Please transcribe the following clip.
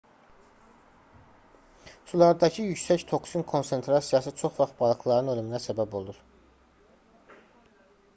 sulardakı yüksək toksin konsentrasiyası çox vaxt balıqların ölümünə səbəb olur